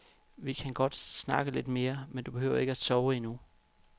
Vi kan godt snakke lidt mere, du behøver ikke at sove endnu.